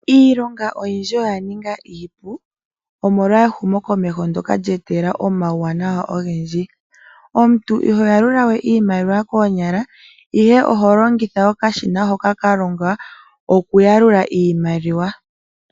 Iilonga oyindji oya ninga iipu omolwa ehumokomeho ndyoka lye etelela omauwanawa ogendji. Omuntu iho yalula we iimaliwa koonyala, ihe oho longitha okashina hoka ka longwa kokuyalula iimaliwa.